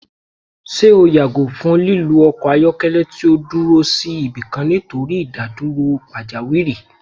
Ṣe o yago fun lilu ọkọ ayọkẹlẹ ti o duro si ibikan nitori idaduro pajawiri?